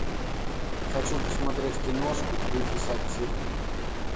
хочу посмотреть киношку в духе сатиры